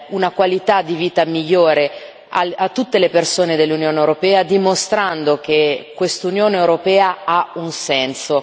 una qualità di vita migliore a tutte le persone dell'Unione europea, dimostrando che quest'Unione europea ha un senso.